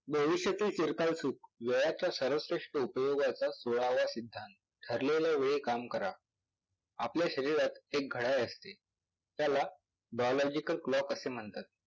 ठरलेल्या वेळी काम करा. आपल्या शरीरात एक घड्याळ असते त्याला bilogical clock असे म्हणतात. भविष्यातील चिरकाल सुखं, वेळाच्या सर्वश्रेष्ठ उपयोगाचा पुरावा सिद्धांत.